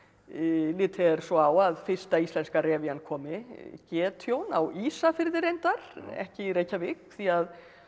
litið er svo á að fyrsta íslenska komi á Ísafirði reyndar ekki í Reykjavík því að þó